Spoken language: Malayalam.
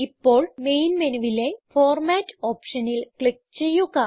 ഇപ്പോൾ മെയിൻ മെനുവിലെ ഫോർമാറ്റ് ഓപ്ഷനിൽ ക്ലിക്ക് ചെയ്യുക